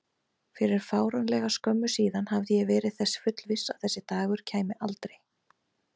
Fyrir fáránlega skömmu síðan hafði ég verið þess fullviss að þessi dagur kæmi aldrei.